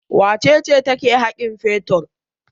Wace ce take haƙin fetur?